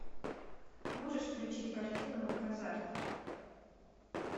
можешь включить картину казарт